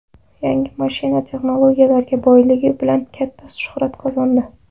Yangi mashina texnologiyalarga boyligi bilan katta shuhrat qozondi.